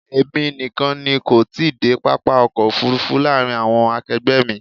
Èmi nìkan ni kò tí ì dé pápá ọkọ̀ òfúrúfú láàárín àwọn akegbe mi.